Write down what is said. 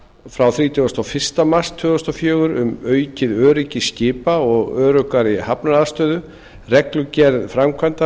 frá þrítugasta og fyrsta mars tvö þúsund og fjögur um aukið öryggi skipa og öruggari hafnaraðstöðu reglugerð framkvæmdastjórnarinnar